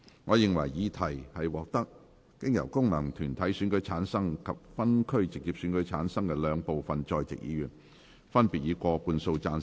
我認為議題獲得經由功能團體選舉產生及分區直接選舉產生的兩部分在席議員，分別以過半數贊成。